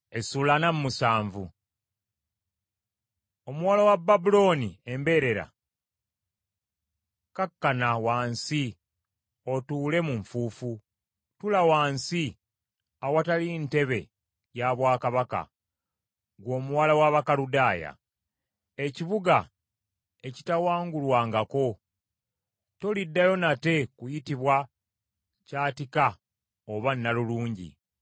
“Omuwala wa Babulooni embeerera, kakkana wansi otuule mu nfuufu, tuula wansi awatali ntebe ya bwakabaka, ggwe omuwala w’Abakaludaaya. Ekibuga ekitawangulwangako. Toliddayo nate kuyitibwa kyatika oba nnalulungi.